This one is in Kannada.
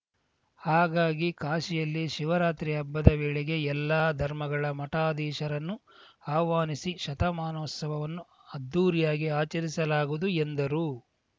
ಹಾಗಾಗಿ ಕಾಶಿಯಲ್ಲಿ ಶಿವರಾತ್ರಿ ಹಬ್ಬದ ವೇಳೆಗೆ ಎಲ್ಲ ಧರ್ಮಗಳ ಮಠಾಧೀಶರನ್ನೂ ಆಹ್ವಾನಿಸಿ ಶತಮಾನೋತ್ಸವವನ್ನು ಅದ್ಧೂರಿಯಾಗಿ ಆಚರಿಸಲಾಗುವುದು ಎಂದರು